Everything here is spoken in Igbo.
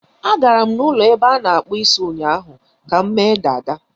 Agara m n'ụlọ ebe a na-akpụ isi ụnyaahụ ka m mee dada.